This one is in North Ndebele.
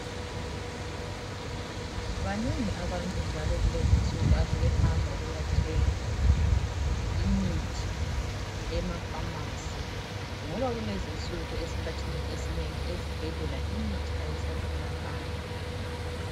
Banengi abantu njalo kulezi nsuku asebehamba ukuya thenga imithi emafamasi. Ngoba kulezinsuku esikhathini esinengi ezibhedlela imithi ayisatholakali.